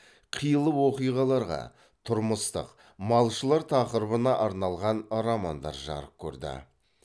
қилы оқиғаларға тұрмыстық малшылар тақырыбына арналған романдар жарық көрді